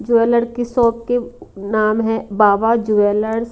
Jeweller की shop के नाम है बाबा ज्वेलर्स ।